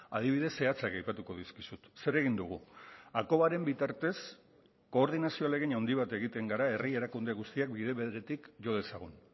adibide zehatzak aipatuko dizkizut zer egin dugu akobaren bitartez koordinazio ahalegin handi bat egiten gara herri erakunde guztiak bide beretik jo dezagun